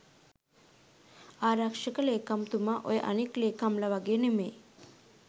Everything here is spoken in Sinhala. ආරක්ෂක ලේකම්තුමා ඔය අනිත් ලේකම්ලා වගේ නෙවෙයි.